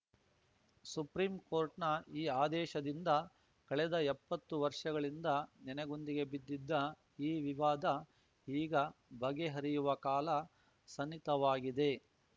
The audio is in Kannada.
ಸುಪ್ರೀಂ ಕೋರ್ಟ್‌ನ ಈ ಆದೇಶದಿಂದ ಕಳೆದ ಎಪ್ಪತ್ತು ವರ್ಷಗಳಿಂದ ನೆನೆಗುಂದಿಗೆ ಬಿದ್ದಿದ್ದ ಈ ವಿವಾದ ಈಗ ಬಗೆಹರಿಯುವ ಕಾಲ ಸನ್ನಿತವಾಗಿದೆ